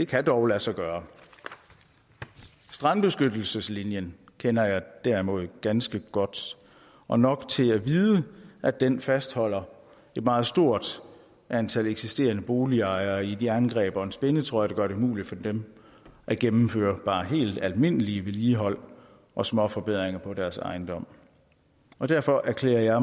kan dog lade sig gøre strandbeskyttelseslinjen kender jeg derimod ganske godt og nok til at vide at den fastholder et meget stort antal eksisterende boligejere i et jerngreb og en spændetrøje der gør det umuligt for dem at gennemføre bare helt almindeligt vedligehold og småforbedringer på deres ejendom og derfor erklærer jeg